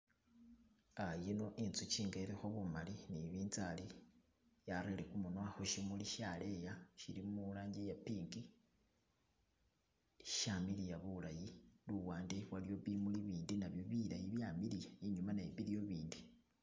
yino inzuchi inga ilikho bumali ni bintsali yarele gumunwa khushimuli shaleya shili mulangiye pink shamiliya bulayi luwande waliyo bimuli bindi nabyo bilayi byamiliya inyuma nayo waliyo bindi